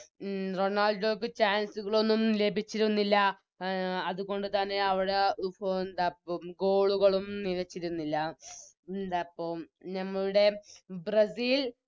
മ് റൊണാൾഡോക്ക് Chance കളൊന്നും ലഭിച്ചിരുന്നില്ല അഹ് അതുകൊണ്ട് തന്നെ അവിടെ ഇപ്പൊ ന്തപ്പോം Goal കളും നിലച്ചിരുന്നില്ല ന്താപ്പം ഞമ്മളുടെ ബ്രസീൽ